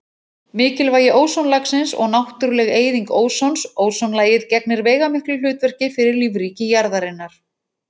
Mikilvægi ósonlagsins og náttúruleg eyðing ósons Ósonlagið gegnir veigamiklu hlutverki fyrir lífríki jarðarinnar.